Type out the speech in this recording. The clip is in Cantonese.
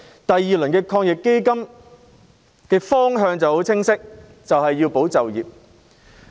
因為防疫抗疫基金第二輪措施的方向很清晰，就是要"保就業"。